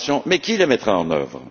Mais qui le mettra en œuvre?